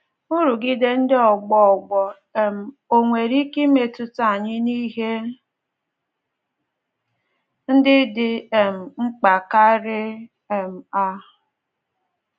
Nrụgide ndị ọgbọ ọgbọ um ò nwere ike imetụta anyị n’ihe ndị dị um mkpa karị um a?